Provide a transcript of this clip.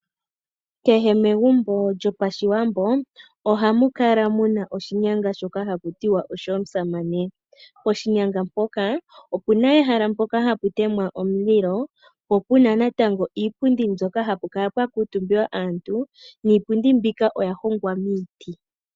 Kehe megumbo lyopashiwambo ohamu kala muna oshinyanga shoka hakutiwa osho musamane. Poshinyanga mpoka opuna ehala mpoka hapu temwa omulilo po puna natango iipundi mbyoka mpoka hapu kala pwa kuuntumba aantu niipundi mbika oya hongwa miiti.